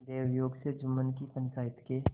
दैवयोग से जुम्मन की पंचायत के